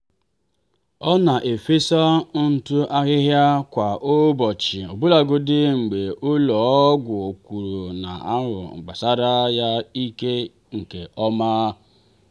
ọ na-efesa ntụ ahịhịa kwa ụbọchị ọbụlagodi mgbe ụlọ ọgwụ kwuru n'ahụ gbasasịrị ya ike nke ọma.